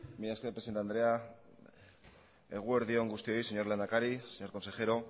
mila esker presidente andrea eguerdi on guztioi señor lehendakari señor consejero